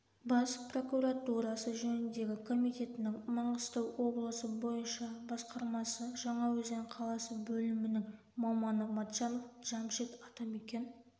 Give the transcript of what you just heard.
бас прокуратурасы жөніндегі комитетінің маңғыстау облысы бойынша басқармасы жаңаөзен қаласы бөлімінің маманы матчанов джамшит атамекен